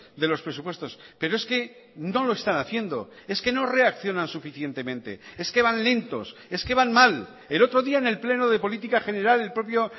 de los presupuestos pero es que no lo están haciendo es que no reaccionan suficientemente es que van lentos es que van mal el otro día en el pleno de política general el propio